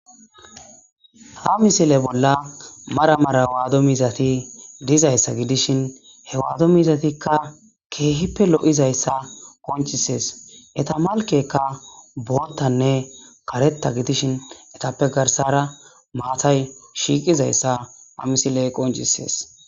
Ha misile bolla maramara waado mizati dizayssa gidishin he waado mizatikka keehippe lo'izayssa qoncisees eta malkekka boottanne karetta gidishin etappe garsara maatay shiiqizayssa ha misiley qoncisees.